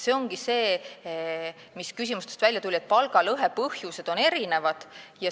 See ongi see, mis küsimustest välja tuli, et palgalõhe põhjused on erinevad.